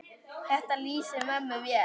Þetta lýsir mömmu vel.